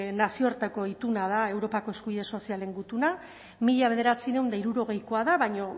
nazioateko ituna da europako eskubide sozialen gutuna mila bederatziehun eta hirurogeikoa da baina